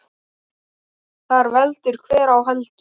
Þar veldur hver á heldur.